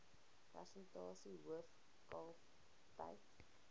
persentasie hoof kalftyd